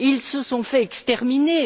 Ils se sont fait exterminer.